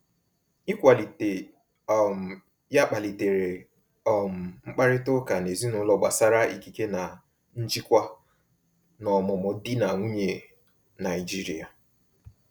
Ịkwalite um ya kpalitere um mkparịta ụka n’ezinụlọ gbasara ikike na njikwa n’ọmụmụ di na nwunye Naijiria.